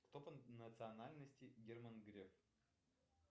кто по национальности герман греф